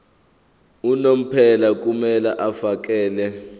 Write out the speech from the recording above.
unomphela kumele afakele